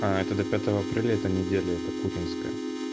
аа это до пятого апреля эта неделя эта путинская